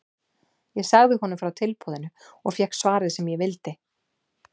Ég sagði honum frá tilboðinu og fékk svarið sem ég vildi.